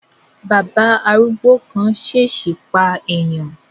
Bàbá arúgbó kan ṣesi pa eèyàn